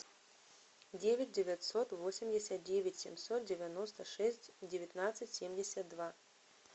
девять девятьсот восемьдесят девять семьсот девяносто шесть девятнадцать семьдесят два